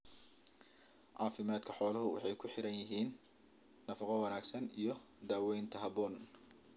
Caafimaadka xooluhu waxay ku xidhan yihiin nafaqo wanaagsan iyo daawaynta habboon.